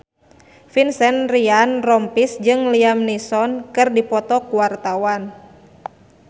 Vincent Ryan Rompies jeung Liam Neeson keur dipoto ku wartawan